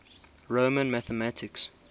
roman mathematics